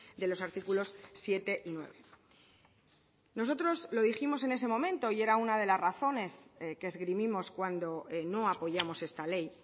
de los artículos siete y nueve nosotros lo dijimos en ese momento y era una de las razones que esgrimimos cuando no apoyamos esta ley